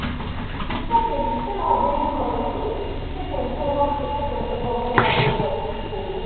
କେତେ pencil ହଜେଇଛୁ କହିଲୁ କେତେ pencil box କେତେ pencil rubber ସବୁ ହଜେଇକି ଆସିଛୁ school ରେ